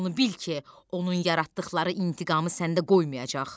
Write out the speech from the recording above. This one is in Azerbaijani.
Onu bil ki, onun yaratdıqları intiqamı səndə qoymayacaq.